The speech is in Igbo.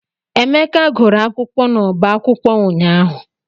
Emeka gụrụ akwụkwọ n'ọbá akwụkwọ ụnyaahụ.